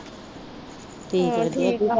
ਹਾਂ ਠੀਕ ਹੈ